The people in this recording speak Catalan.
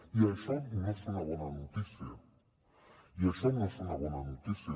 i això no és una bona notícia això no és una bona notícia